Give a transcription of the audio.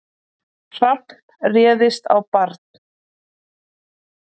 Hrafn réðist á barn